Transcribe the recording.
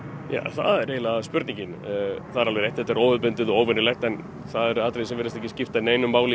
það er spurningin það er rétt að þetta er óhefðbundin en það virðist ekki skipta neinu máli í